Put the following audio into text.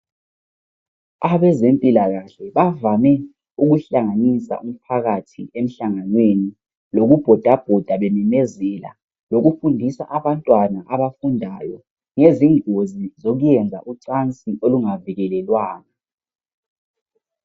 Abezempilakahle bavame ukuhlanganisa umphakathi emhlanganweni lokubhodabhoda bememezela lokufundisa abantwana abafundayo ngezingozi zokuyenza ucansi olungavikelelwanga.